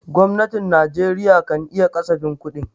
Gwamnatin Najeriya kan yi kasafin kudi.